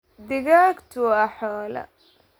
digagtu waa xoolo.